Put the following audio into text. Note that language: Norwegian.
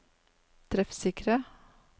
treffsikre